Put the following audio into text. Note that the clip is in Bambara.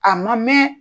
A ma mɛn